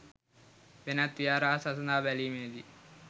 වෙනත් විහාර හා සසඳා බැලීමේදී